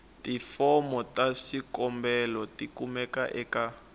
tifomo ta swikombelo tikumeka eka